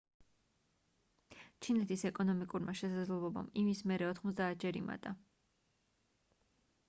ჩინეთის ეკონომიკურმა შესაძლებლობამ იმის მერე 90-ჯერ იმატა